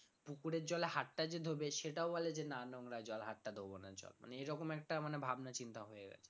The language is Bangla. পুকুরের জলে হাতটা যে ধোবে সেটাও বলে যে না নোংরা জল হাতটা ধোবো না মানে এরকম একটা মানে ভাবনা চিন্তা হয়ে গেছে মানুষের